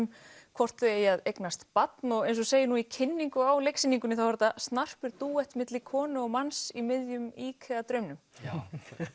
hvort þau eigi að eignast barn eins og segir í kynningu á leiksýningunni þá er þetta snarpur dúett milli konu og manns í miðjum IKEA draumnum já